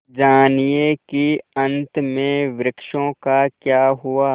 जानिए कि अंत में वृक्षों का क्या हुआ